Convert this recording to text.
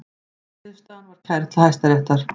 Niðurstaðan var kærð til Hæstaréttar